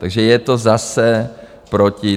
Takže je to zase proti.